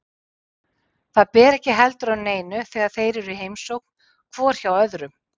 Það ber ekki heldur á neinu þegar þeir eru í heimsókn hvor hjá öðrum.